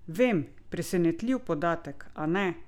Vem, presenetljiv podatek, a ne?